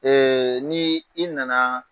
ni i nana